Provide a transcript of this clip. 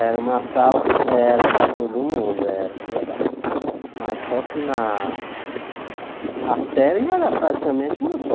Era uma sala era para todo mundo era, verdade mas só que na a série era praticamente uma só.